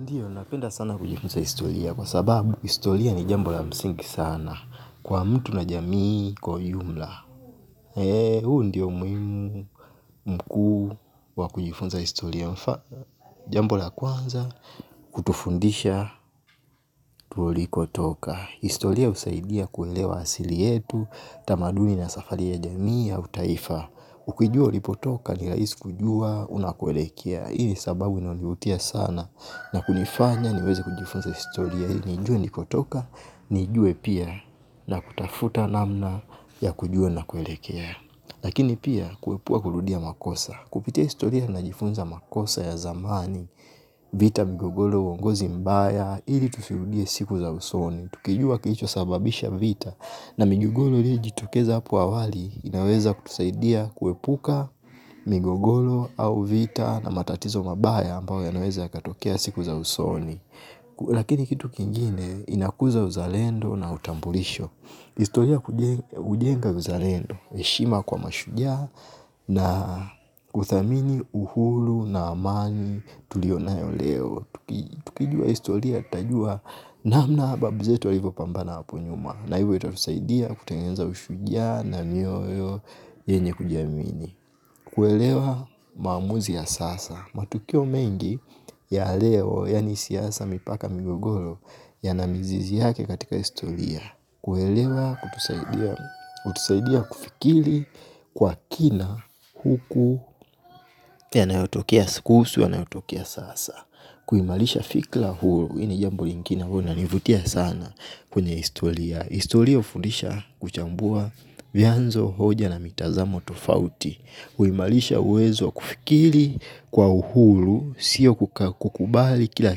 Ndiyo, napenda sana kujifunza historia kwa sababu historia ni jambo la msingi sana kwa mtu na jamii kwa ujumla. Eee, huu ndio umuhimu mkuu wa kujifunza historia yetu, jambo la kwanza kutufundisha tulikotoka. Historia husaidia kuelewa asili yetu, tamaduni na safari ya jamii ya kitaifa. Ukijua ulikotoka ni rahisi kujua unakoelekea. Hii ni sababu inanivutia sana na kunifanya niweze kujifunza historia, nijue nilikotoka, nijue pia na kutafuta namna ya kujua ninakoelekea. Lakini pia, kuepuka kurudia makosa. Kupitia historia najifunza makosa ya zamani. Vita, migogoro, uongozi mbaya, ili tusirudie siku za usoni. Tukijua kilichosababisha vita na migogoro iliyojitokeza hapo awali, inaweza kutusaidia kuepuka migogoro au vita na matatizo mabaya ambayo yanaweza yakatokea siku za usoni. Lakini kitu kingine inakuza uzalendo na utambulisho. Historia hujenga uzalendo, heshima kwa mashujaa na uthamini uhuru na amani tuliyonayo leo. Tukijua historia, tutajua namna babu zetu walivyopambana hapo nyuma, na hivyo itatusaidia kutengeneza ushujaa na mioyo yenye kujiamini. Kuelewa maamuzi ya sasa. Matukio mengi ya leo, yaani siasa, mipaka na migogoro, yana mizizi yake katika historia. Kuelewa hutusaidia kufikiri kwa kina huku yanayotokea sikusu yanayotokea sasa. Kuimarisha fikra hii ni jambo linalonivutia sana kwenye historia. Historia hufundisha kuchambua vyanzo, hoja na mitazamo tofauti. Huimarisha uwezo wa kufikiri kwa uhuru, siyo kukubali kila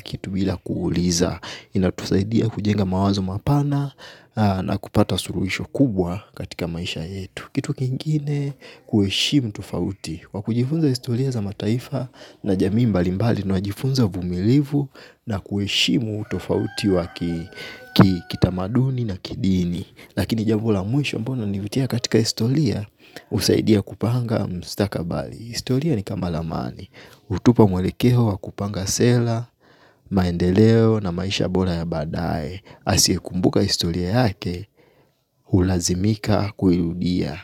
kitu bila kuuliza. Inatusaidia kujenga mapana. Na kupata suluhisho kubwa katika maisha yetu. Kitu kingine, kuheshimu tofauti. Kwa kujifunza historia za mataifa na jamii mbalimbali, tunajifunza uvumilivu. Na kuheshimu utofauti wa kitamaduni na kidini. Lakini jambo la mwisho ambalo linanivutia katika historia. Husaidia kupanga mustakabali, historia ni kama ramani, hutupa mwelekeo wa kupanga sera, maendeleo na maisha bora ya baadaye. Asiyekumbuka historia yake, hulazimika kuirudia.